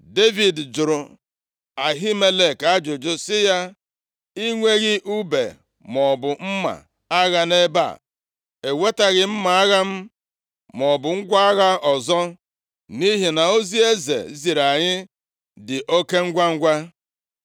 Devid jụrụ Ahimelek ajụjụ sị ya, “I nweghị ùbe maọbụ mma agha nʼebe a? Ewetaghị m mma agha m maọbụ ngwa agha ọzọ, nʼihi na ozi eze ziri anyị dị oke ngwangwa.”